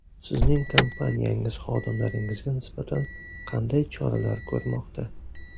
Sizning kompaniyangiz xodimlaringizga nisbatan qanday choralar ko‘rmoqda?